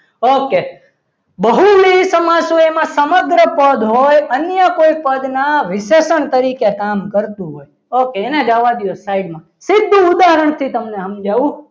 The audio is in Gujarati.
okay બહુ વિહી સમાજ હોય એમાં સમગ્ર પદ હોય અને અન્ય કોઈ પદના વિશેષણ તરીકે કામ કરતું હોય okay એને જવા દો side માં સીધુ ઉદાહરણથી તમને સમજાવું